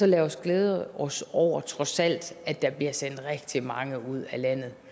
lad os så glæde os over trods alt at der bliver sendt rigtig mange ud af landet